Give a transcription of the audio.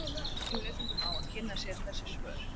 Við bendum lesendum á að kynna sér þessi svör.